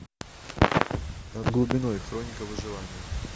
над глубиной хроника выживания